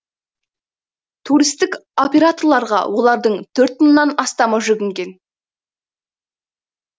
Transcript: туристік операторларға олардың төрт мыңнан астамы жүгінген